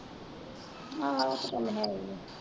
ਆਹੋ ਉਹ ਤੇ ਚਲ ਹੈਗਾ ਈ ਆ।